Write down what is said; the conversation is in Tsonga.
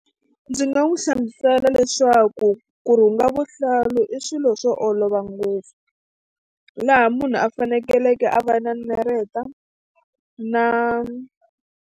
Ndzi nga n'wi hlamusela leswaku ku rhunga vuhlalu i swilo swo olova ngopfu hi laha munhu a fanekeleke a va na nareta na.